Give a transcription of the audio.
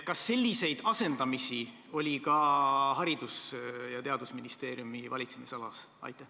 Kas selliseid asendamisi oli ka Haridus- ja Teadusministeeriumi valitsemisalas?